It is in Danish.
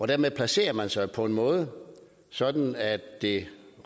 dermed placerede man sig på en måde sådan at det